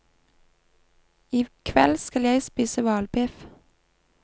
I kveld skal jeg spise hvalbiff.